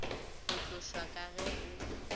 go tlošwa ka ge o